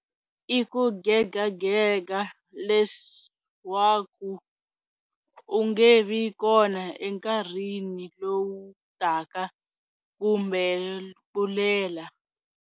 l Ku gegagega leswaku u nge vi kona enkarhini lowu taka kumbe ku lela.